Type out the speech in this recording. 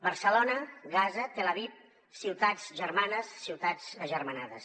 barcelona gaza telaviv ciutats germanes ciutats agermanades